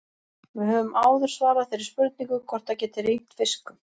Við höfum áður svarað þeirri spurningu hvort það geti rignt fiskum.